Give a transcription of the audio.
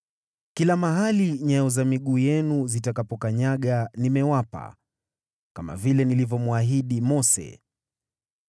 Kila mahali nyayo za miguu yenu zitakapokanyaga nimewapa, kama vile nilivyomwahidi Mose.